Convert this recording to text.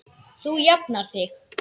Þú jafnar þig.